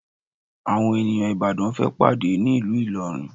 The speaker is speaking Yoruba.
Àwọn ènìyàn Ìbàdàn fẹ́ pàdé ní ìlú Ìlọrin